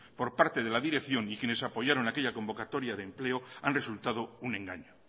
por parte de la dirección y quienes apoyaron aquella convocatoria de empleo han resultado un engaño